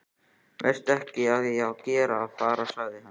Veistu ekki að ég er að fara? sagði hann.